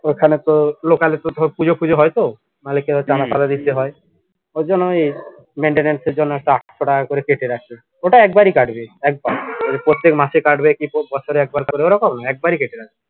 ঐখানে তোর locally তো তোর পুজো ফুজো হয়তো মালিককে চাঁদা টাডা দিতে হয় ওই জন্যই maintenance এর জন্য একটা আটশো টাকা করে কেটে রাখে ঐটা একবারই কাটবে একবার প্রত্যেক মাসে কাটবে কি বছরে একবার করে ওরকম না একবারই কেটে রাখবে